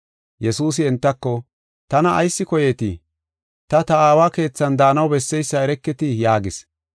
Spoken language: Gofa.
Yesuusi entako, “Tana ayis koyeetii? Ta, ta aawa keethan daanaw besseysa ereketi” yaagis.